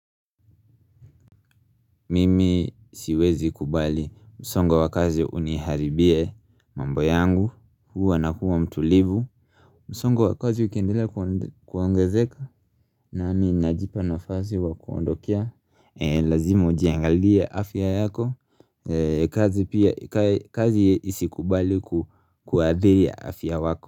Mimi siwezi kubali msongo wakazi uniharibie mambo yangu huwa na kuwa mtulivu msongo wakazi ukiendelea kuongezeka nami najipa nafasi wa kuondokea Lazima ujiangalie afya yako kazi pia kazi isi kubali kuadhiye afya wako.